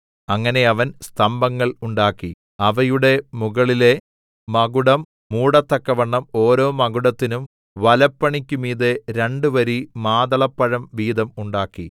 അങ്ങനെ അവൻ സ്തംഭങ്ങൾ ഉണ്ടാക്കി അവയുടെ മുകളിലെ മകുടം മൂടത്തക്കവണ്ണം ഓരോ മകുടത്തിനും വലപ്പണിക്കുമീതെ രണ്ടു വരി മാതളപ്പഴം വീതം ഉണ്ടാക്കി